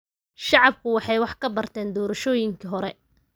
Shacabku waxay wax ka barteen doorashooyinkii hore.